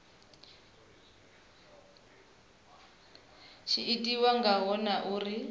tshi itiwa ngaho na uri